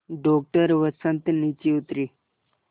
doctor Vasant नीचे उतरे